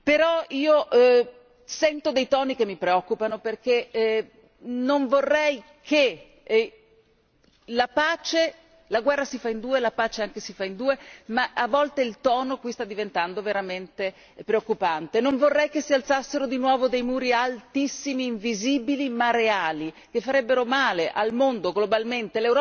Però io sento dei toni che mi preoccupano, perché non vorrei che la guerra si fa in due, la pace anche si fa in due, ma a volte il tono qui sta diventando veramente preoccupante non vorrei che si alzassero di nuovo dei muri altissimi, invisibili ma reali, che farebbero male al mondo, globalmente.